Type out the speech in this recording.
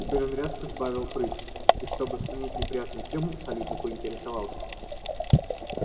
теперь он резко сбавил прыть и чтобы сменить неприятную тему солидно поинтересовался